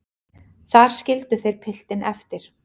Þar skildu þeir piltinn eftir.